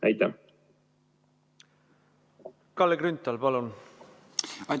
Kalle Grünthal, palun!